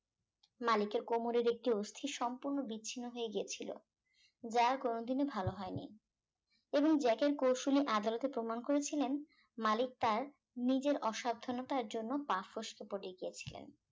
মালিকের কোমরের একটি অস্থি সম্পূর্ণ বিচ্ছিন্ন হয়ে গিয়েছিল যা আর কোন দিনও ভালো হয় নি এবং জ্যাকের কৌশলী আদালতে প্রমাণ করেছিলেন মালিক তার নিজের অসাবধানতার জন্য পা ফসকে পড়ে গিয়েছিলেন